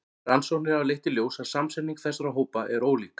Rannsóknir hafa leitt í ljós að samsetning þessara hópa er ólík.